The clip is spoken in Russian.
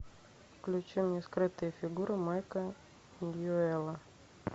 включи мне скрытые фигуры майка ньюэлла